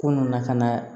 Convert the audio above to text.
Ko nun na ka na